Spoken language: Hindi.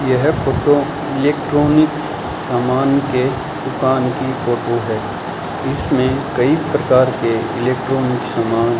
यह फोटो इलेक्ट्रॉनिक्स सामान के दुकान की फोटो है इसमें कई प्रकार के इलेक्ट्रॉनिक सामान --